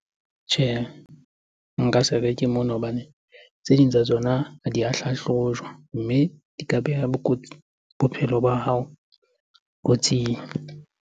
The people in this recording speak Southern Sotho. Tjhehe, nka se reke mona hobane tse ding tsa tsona ha di a hlahlojwa. Mme di ka beha bophelo ba hao kotsing.